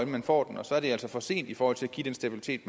man får den og så er det altså for sent i forhold til at give den stabilitet